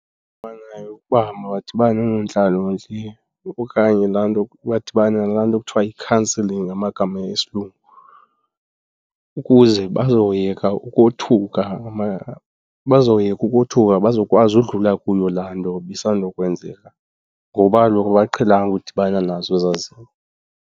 ukuba mabadibane noonontlalontle okanye laa nto, badibane nalaa nto kuthiwa yi-counselling ngamagama esilungu, ukuze bazoyeka ukothuka bazoyeka ukothuka , bazoyeka ukothuka bazokwazi udlula kuyo laa nto ibisandukwenzeka ngoba kaloku abaqhelanga udibana nazo ezaa zinto.